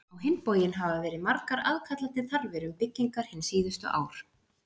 Á hinn bóginn hafa verið margar aðkallandi þarfir um byggingar hin síðustu ár.